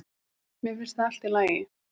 Mér finnst það allt í lagi